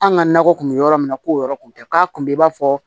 An ka nakɔ kun bɛ yɔrɔ min na ko o yɔrɔ kun tɛ k'a kun i b'a fɔ